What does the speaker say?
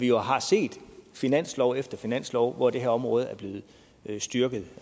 jo har set finanslov efter finanslov hvor det her område er blevet styrket